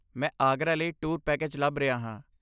ਮੈਂ ਆਗਰਾ ਲਈ tour package ਲੱਭ ਰਿਹਾ ਹਾਂ।